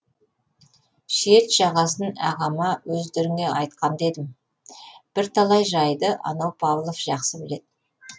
шет жағасын ағама өздеріңе айтқан да едім бірталай жайды анау павлов жақсы біледі